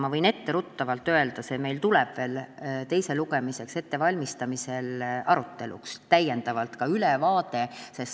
Ma võin etteruttavalt öelda, et see ülevaade tuleb meil veel teise lugemise ettevalmistamisel arutelule.